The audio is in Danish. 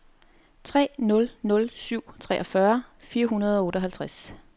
tre nul nul syv treogfyrre fire hundrede og otteoghalvtreds